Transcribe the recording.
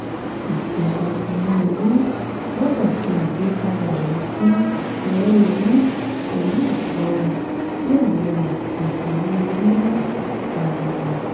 ìjọba tinubu gbọdọ ṣe àgbékalẹ̀ alekun owó-orí pẹlu ìṣora kí àwon apọju owó-orí má pariwo.